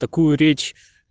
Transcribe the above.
такую речь